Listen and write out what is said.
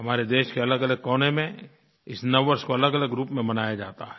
हमारे देश के अलगअलग कोने में इस नववर्ष को अलगअलग रूप में मनाया जाता है